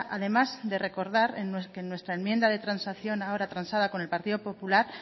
además de recordar que en nuestra enmienda de transacción ahora transada con el partido popular